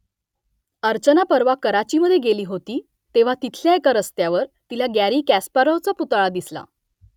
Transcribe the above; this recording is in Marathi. अर्चना परवा कराचीमधे गेली होती तेव्हा तिथल्या एका रस्त्यावर तिला गॅरी कॅस्पारोव्हाचा पुतळा दिसला